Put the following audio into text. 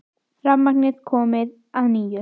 Rafmagn komið á að nýju